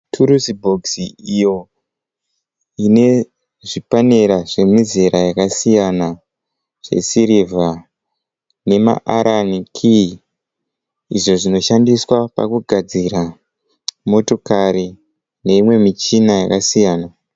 Turusi bhokisi iyo ine zvipanera zvemizera yakasiyana zvesirivha. Nema arani kiyi izvo zvinoshandiswa pakugadzira motokari neimwe michina yakasiyana.